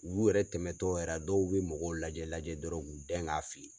Uu yɛrɛ tɛmɛtɔ yɛrɛ dɔw be mɔgɔw lajɛ lajɛ dɔrɔn k'u den k'a fili